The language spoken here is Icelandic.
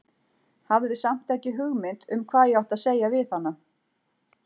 Hafði samt ekki hugmynd um hvað ég átti að segja við hana.